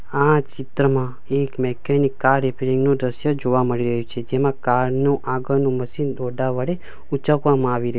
આ ચિત્રમાં એક મિકેનિક કાર રીપેરીંગ નું દ્રશ્ય જોવા મળી રહ્યું છે જેમાં કાર નું આગળનું મશીન ટોટા વડે ઊંચકવામાં આવી રહ્યુ --